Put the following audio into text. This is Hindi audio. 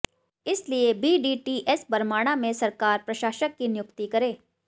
इसलिए बीडीटीएस बरमाणा में सरकार प्रशासक की नियुक्ति करे